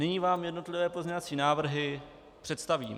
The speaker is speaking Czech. Nyní vám jednotlivé pozměňovací návrhy představím.